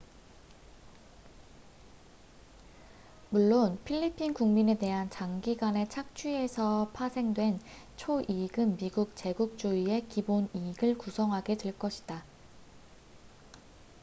물론 필리핀 국민에 대한 장기간의 착취에서 파생된 초 이익은 미국 제국주의의 기본 이익을 구성하게 될 것이다